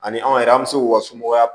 Ani anw yɛrɛ an bɛ se k'u ka somɔgɔya